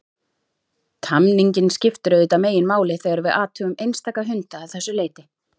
Tamningin skiptir auðvitað meginmáli þegar við athugum einstaka hunda að þessu leyti.